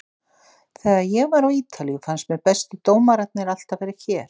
Þegar ég var á Ítalíu fannst mér bestu dómararnir alltaf vera hér.